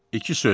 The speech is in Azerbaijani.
İki söz.